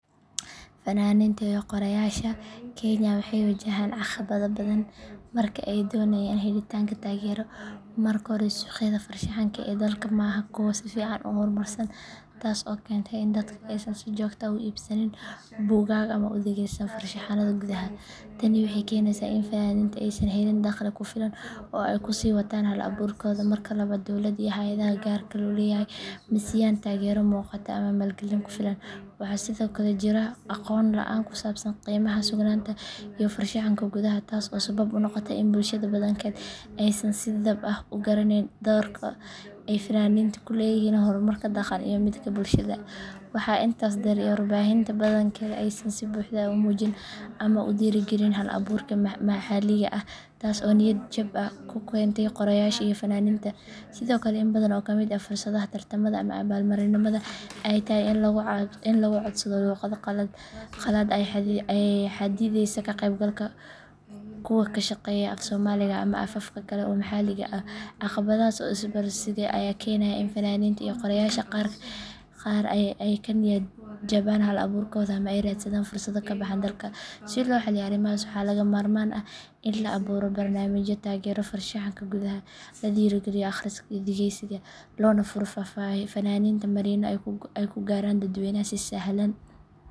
Fannaaniinta iyo qoraayasha Kenya waxay wajahaan caqabado badan marka ay doonayaan helitaanka taageero. Marka hore, suuqyada farshaxanka ee dalka ma aha kuwo si fiican u horumarsan, taas oo keenta in dadku aysan si joogto ah u iibsannin buugaag ama u dhageysan farshaxanada gudaha. Tani waxay keenaysaa in fannaaniintu aysan helin dakhli ku filan oo ay ku sii wataan hal-abuurkooda. Marka labaad, dowladda iyo hay’adaha gaarka loo leeyahay ma siiyaan taageero muuqata ama maalgelin ku filan. Waxaa sidoo kale jira aqoon la’aan ku saabsan qiimaha suugaanta iyo farshaxanka gudaha taas oo sabab u noqota in bulshada badankeed aysan si dhab ah u garanayn doorka ay fannaaniintu ku leeyihiin horumarka dhaqan iyo midka bulshada. Waxaa intaas dheer in warbaahinta badankeed aysan si buuxda u muujin ama u dhiirrigelin hal-abuurka maxalliga ah, taas oo niyad-jab ku keenta qoraayasha iyo fannaaniinta. Sidoo kale, in badan oo ka mid ah fursadaha tartamada ama abaalmarinnada ay tahay in lagu codsado luqado qalaad ayaa xaddideysa ka qaybgalka kuwa ku shaqeeya af-Soomaaliga ama afafka kale ee maxalliga ah. Caqabadahaas oo isbiirsaday ayaa keenaya in fannaaniinta iyo qoraayasha qaar ay ka niyad jabaan hal-abuurkooda ama ay raadsadaan fursado ka baxsan dalka. Si loo xalliyo arrimahaas, waxaa lagama maarmaan ah in la abuuro barnaamijyo taageera farshaxanka gudaha, la dhiirrigeliyo akhriska iyo dhageysiga, loona furo fannaaniinta marinno ay ku gaaraan dadweynaha si sahlan.